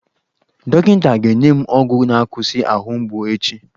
Dọkịta ga-enye m ọgwụ na-akwụsị ahụ mgbu echi.